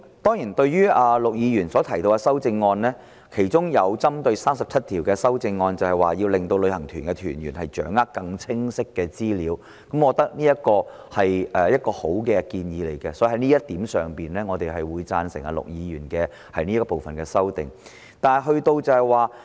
對於陸頌雄議員提出的修正案，其中一項針對第37條，要令旅行團團員掌握更清晰的資料，我覺得這是一個很好的建議，所以我們會贊成陸議員就這部分提出的修正。